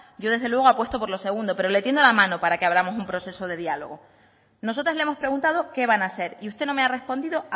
yo desde luego apuesto por lo segundo pero le tiendo la mano para que abramos un proceso de diálogo nosotras le hemos preguntado qué van a hacer y usted no me ha respondido